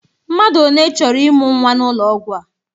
Mmadụ one chọrọ ịmụ nwa n'ụlọ ọgwụ a?